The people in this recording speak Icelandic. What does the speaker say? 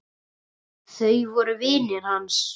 Þau voru vinir hans.